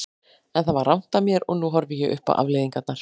En það var rangt af mér og nú horfi ég upp á afleiðingarnar.